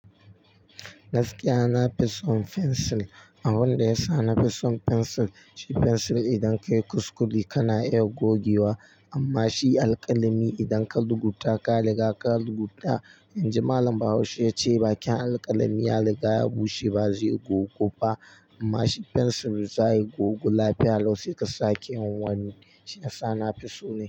Gaskiya, na fi son fensil. Abin da ya sa na fi son fensil, shi fensil idan ka yi kuskure kana iya gogewa amma shi alƙalami idan ka lugu ta ka riga ka lugu ta. In ji malam Bahaushe ya ce, "Bakin alƙalami ya riga ya bushe ba zai gogu go ba amma shi fensil zaya gogu lafiya." Lau sai ka sake yin wani. Shiyasa nafi so.